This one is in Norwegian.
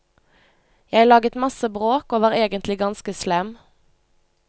Jeg laget masse bråk, og var egentlig ganske slem.